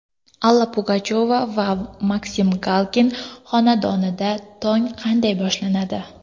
Alla Pugachyova va Maksim Galkin xonadonida tong qanday boshlanadi?.